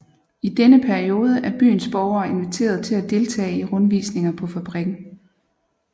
I denne periode er byens borgere inviteret til at deltage i rundvisninger på fabrikken